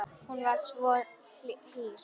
Hún var svo hýr.